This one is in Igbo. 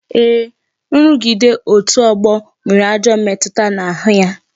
Ee, nrugide otu ọgbọ nwere ajọ mmetụta n'ahụ ya